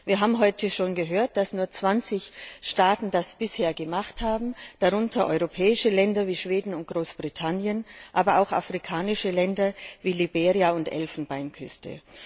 Wir haben heute schon gehört, dass nur 20 Staaten das bisher gemacht haben, darunter europäische Länder wie Schweden und Großbritannien, aber auch afrikanische Länder wir Liberia und die Elfenbeinküste.